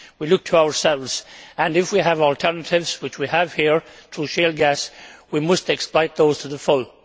We look to ourselves, and if we have alternatives which we have here through shale gas we must exploit those to the full.